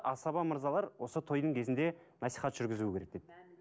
асаба мырзалар осы тойдың кезінде насихат жүргізуі керек деп